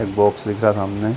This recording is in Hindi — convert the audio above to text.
एक बॉक्स दिख रहा सामने--